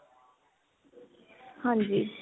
ਹਾਂਜੀ